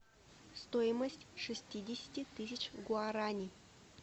стоимость шестидесяти тысяч гуарани